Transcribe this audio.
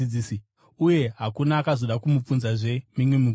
Uye hakuna akazoda kumubvunzazve mimwe mibvunzo.